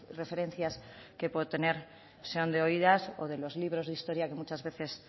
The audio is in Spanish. referencias que pueda tener sean de oídas o de los libros de historia que muchas veces